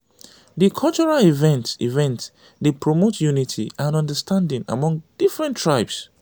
di cultural event event dey promote unity and understanding among different tribes.